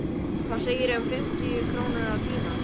Hvað segirðu um fimmtíu krónur á tímann?